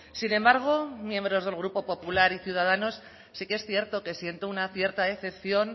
sin embargo miembros del grupo popular y ciudadanos sí que es cierto que siento una cierta decepción